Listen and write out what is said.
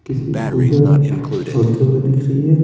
किसी पूजा होते हुए दिख रही है।